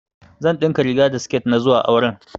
Zan ɗinka riga da siketi na zuwa auren